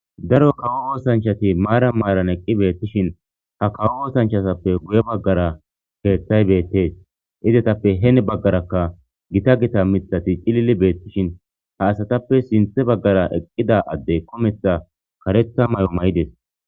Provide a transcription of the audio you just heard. Daro kawo woosanchati maara maaran eqqi beettishin ha kawo woosanchasappe guye baggara keeththay beettees izetappe heen baggarakka gita gita mitati cilili beettishin ha asatappe sinthe baggara eqqida adde kometha karetha may'o may'ides.